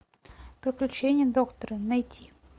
приключения доктора найти